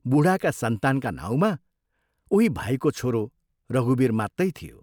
बूढाका सन्तानका नाउँमा उही भाइको छोरो रघुवीर मात्तै थियो।